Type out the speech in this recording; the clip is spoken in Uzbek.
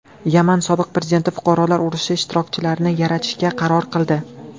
Yaman sobiq prezidenti fuqarolar urushi ishtirokchilarini yarashtirishga qaror qildi.